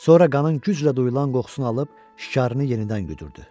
Sonra qanın güclə duyulan qoxusunu alıb şikarını yenidən güdürdü.